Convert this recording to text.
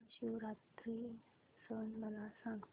महाशिवरात्री सण मला सांग